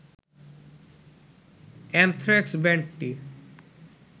anthrax ব্যান্ডটি